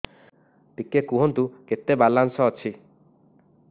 ଟିକେ କୁହନ୍ତୁ କେତେ ବାଲାନ୍ସ ଅଛି